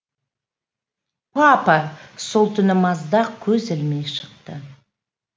папа сол түні маздақ көз ілмей шықты